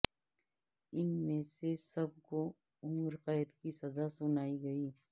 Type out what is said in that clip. ان میں سے سب کو عمر قید کی سزا سنائی گئی